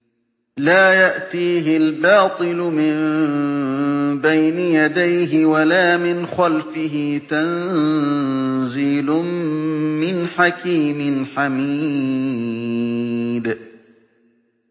لَّا يَأْتِيهِ الْبَاطِلُ مِن بَيْنِ يَدَيْهِ وَلَا مِنْ خَلْفِهِ ۖ تَنزِيلٌ مِّنْ حَكِيمٍ حَمِيدٍ